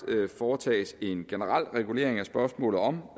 foretages en generel regulering af spørgsmålet om